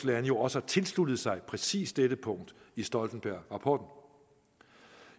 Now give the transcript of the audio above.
lande jo også har tilsluttet sig præcis dette punkt i stoltenbergrapporten